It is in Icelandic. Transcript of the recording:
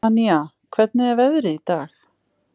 Tanía, hvernig er veðrið í dag?